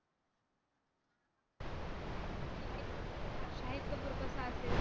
शाहिद कपूर कसा असेल?